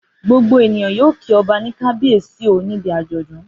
Gbogbo ènìyàn yóò kí ọba ní Kábíyèsí o níbi àjọ̀dún.